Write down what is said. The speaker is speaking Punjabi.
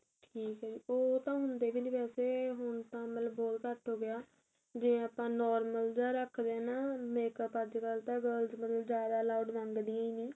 ਠੀਕ ਏ ਜੀ ਉਹ ਤਾਂ ਹੁੰਦੇ ਵਿ ਨੀ ਵੇਸੇ ਹੁਣ ਤਾਂ ਬਹੁਤ ਘੱਟ ਹੋ ਗਿਆ ਜੇ ਆਪਾਂ normal ਜਾ ਰੱਖਦੇ ਆ ਨਾ makeup ਅੱਜਕਲ ਤਾਂ girls ਮਤਲਬ ਜਿਆਦਾ loud ਮੰਗਦੀਆ ਈ ਨੇ